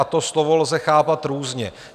A to slovo lze chápat různě.